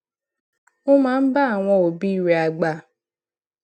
ó máa ń bá àwọn òbí rè àgbà